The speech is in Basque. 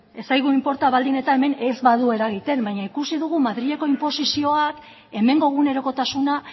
ez zaigu inporta baldin eta hemen ez badu eragiten baina ikusi dugu madrileko inposizioak hemengo egunerokotasuna